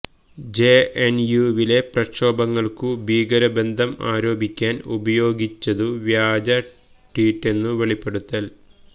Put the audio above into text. ജെഎൻയുവിലെ പ്രക്ഷോഭങ്ങൾക്കു ഭീകരബന്ധം ആരോപിക്കാൻ ഉപയോഗിച്ചതു വ്യാജ ട്വീറ്റെന്നു വെളിപ്പെടുത്തൽ